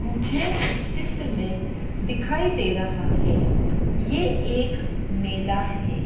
मुझे इस चित्र में दिखाई दे रहा है ये एक मेला है।